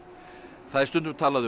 það er stundum talað um